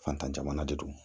Fatan jamana de don